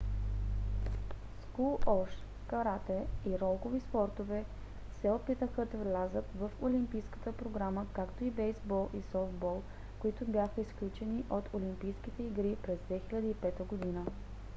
скуош карате и ролкови спортове се опитаха да влязат в олимпийската програма както и бейзбол и софтбол които бяха изключени от олимпийските игри през 2005 г